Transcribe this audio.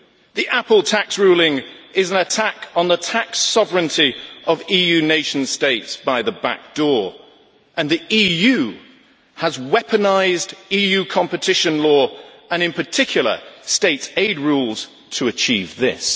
The Apple tax ruling is an attack on the tax sovereignty of EU nation states by the back door, and the EU has weaponised EU competition law and, in particular, state aid rules to achieve this.